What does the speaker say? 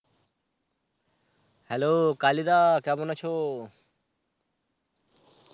hello কালিদা, কেমন আছো?